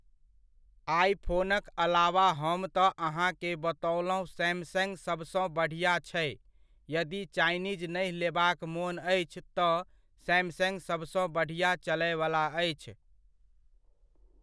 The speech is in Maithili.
आइफ़ोनक अलावा हम तऽ अहाँकेँ बतओलहुँ सैमसंग सबसँ बढ़िआँ छै, यदि चाइनीज़ नहि लेबाक मोन अछि तऽ सैमसंग सभसँ बढ़िआँ चलयवला अछि।